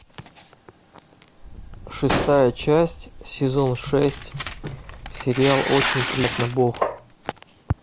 шестая часть сезон шесть сериал очень приятно бог